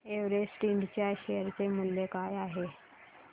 Everest Ind च्या share चे मूल्य काय आहे